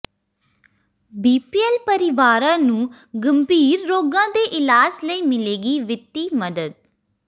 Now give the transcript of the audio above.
BPL ਪਰਿਵਾਰਾਂ ਨੂੰ ਗੰਭੀਰ ਰੋਗਾਂ ਦੇ ਇਲਾਜ ਲਈ ਮਿਲੇਗੀ ਵਿੱਤੀ ਮਦਦ